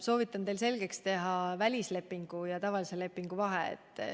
Soovitan teil selgeks teha välislepingu ja tavalise lepingu vahe.